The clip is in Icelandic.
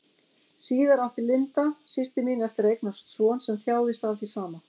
Síðar átti Linda, systir mín, eftir að eignast son sem þjáðist af því sama.